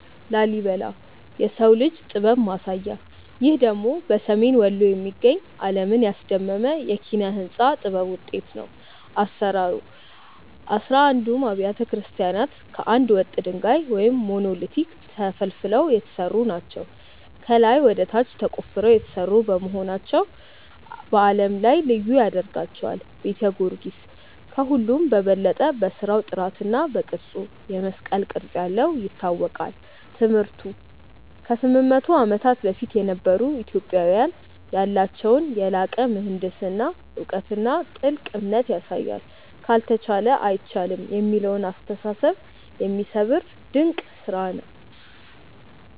ላሊበላ (Lalibela) - "የሰው ልጅ ጥበብ ማሳያ" ይህ ደግሞ በሰሜን ወሎ የሚገኝ፣ ዓለምን ያስደመመ የኪነ-ሕንጻ ጥበብ ውጤት ነው። አሰራሩ፦ አሥራ አንዱም አብያተ ክርስቲያናት ከአንድ ወጥ ድንጋይ (Monolithic) ተፈልፍለው የተሰሩ ናቸው። ከላይ ወደ ታች ተቆፍረው የተሰሩ መሆናቸው በዓለም ላይ ልዩ ያደርጋቸዋል። ቤተ ጊዮርጊስ፦ ከሁሉም በበለጠ በሥራው ጥራትና በቅርጹ (የመስቀል ቅርጽ ያለው) ይታወቃል። ትምህርቱ፦ ከ800 ዓመታት በፊት የነበሩ ኢትዮጵያውያን ያላቸውን የላቀ የምህንድስና እውቀትና ጥልቅ እምነት ያሳያል። "ካልተቻለ አይቻልም" የሚለውን አስተሳሰብ የሚሰብር ድንቅ ስራ ነው።